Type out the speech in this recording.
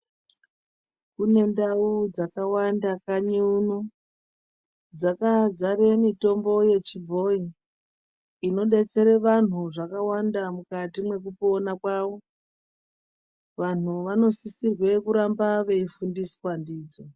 Kune ndau dzakawanda kanyi uno dzakazara mitombo yechibhoi inodetsere vantu zvakawanda mukati mwekupona kwavo. Vanhu vanosisirwe kuramba veifundiswa ndidzo.